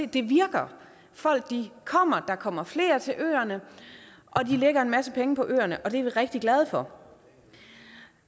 det virker folk kommer der kommer flere til øerne og de lægger en masse penge på øerne og det er vi rigtig glade for